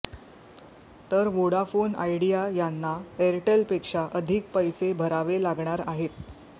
तर Vodafone Idea यांना एअरटेलपेक्षा अधिक पैसे भरावे लागणार आहेत